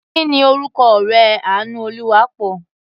Kí ni orúkọ ọ̀rẹ́ Àánúolúwaápọ̀?